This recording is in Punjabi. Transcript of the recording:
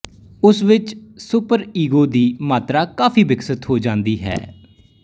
ਉਸ ਵਿੱਚ ਸੁਪਰਈਗੋ ਦੀ ਮਾਤਰਾ ਕਾਫੀ ਵਿਕਸਿਤ ਹੋ ਜਾਂਦੀ ਹੈ